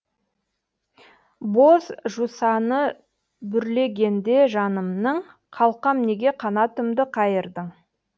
боз жусаны бүрлегенде жанымның қалқам неге қанатымды қайырдың